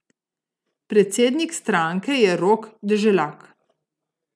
Predsednik stranke je Rok Deželak.